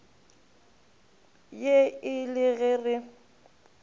ye e le ge re